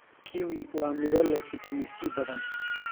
Kiwi waa miro leh fitamiin C badan.